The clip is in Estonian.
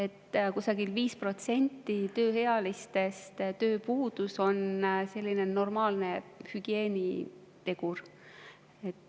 Tööpuudus kusagil 5% tööealistest on selline normaalne hügieenitegur.